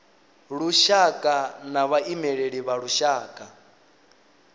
lushaka na vhaimeleli vha lushaka